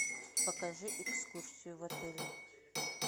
покажи экскурсию в отеле